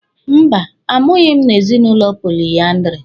Mba, a mụghị m n'ezinụlọ poliandiri.